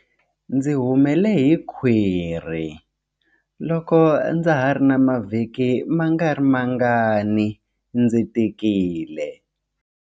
Ndzi humele hi khwiri loko ndza ha ri na mavhiki mangarimangani ndzi tikile.